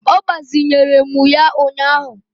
Ọ gbazinyere m ya ụnyaahụ